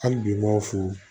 Hali bi n m'aw fo